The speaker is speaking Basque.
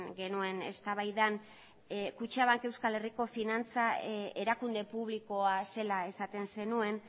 genuen eztabaidan kutxabank euskal herriko finantza erakunde publikoa zela esaten zenuen